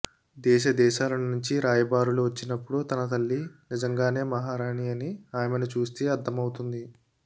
దేశదేశాలనుంచీ రాయబారులు వచ్చినపుడు తన తల్లి నిజంగానే మహారాణి అని ఆమెను చూస్తేనే అర్థవౌతుంది